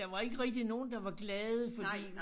Der var ikke rigtig nogen der var glade fordi